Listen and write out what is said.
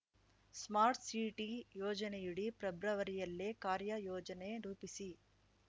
smart city ಯೋಜನೆಯಡಿ ಪ್ರೆಬ್ರವರಿಯಲ್ಲೇ ಕಾರ್ಯ ಯೋಜ ನೆ ರೂಪಿಸಿ